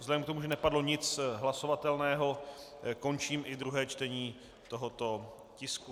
Vzhledem k tomu, že nepadlo nic hlasovatelného, končím i druhé čtení tohoto tisku.